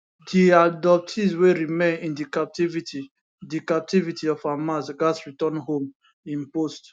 di abductees wey remain in di captivity di captivity of hamas gatz return home im post